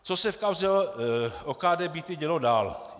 Co se v kauze OKD Byty dělo dál?